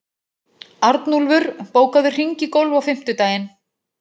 Arnúlfur, bókaðu hring í golf á fimmtudaginn.